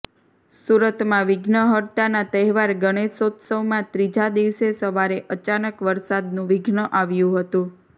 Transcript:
સુરતમાં વિઘ્નહર્તાના તહેવાર ગણોશોત્સવમાં ત્રીજા દિવસે સવારે અચાનક વરસાદનું વિઘ્ન આવ્યું હતું